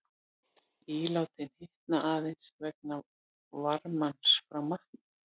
Ílátin hitna aðeins vegna varmans frá matnum.